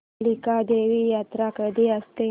कालिका देवी यात्रा कधी असते